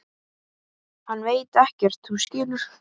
Hann veit ekkert. þú skilur.